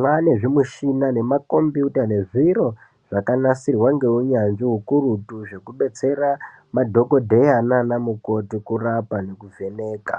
Mwaane zvimushina nemakombiyuta, nezviro zvakanasirwa ngeunyanzvi ukurutu, zvekubetsera madhokodheya naanamukoti kurapa nekuvheneka.